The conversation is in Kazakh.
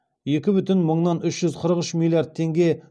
екі бүтін мыңнан үш жүз қырық үш миллиард теңге